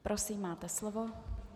Prosím, máte slovo.